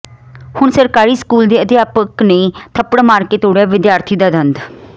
ਹੁਣ ਸਰਕਾਰੀ ਸਕੂਲ ਦੇ ਅਧਿਆਪਕ ਨੇ ਥੱਪੜ ਮਾਰ ਕੇ ਤੋੜਿਆ ਵਿਦਿਆਰਥੀ ਦਾ ਦੰਦ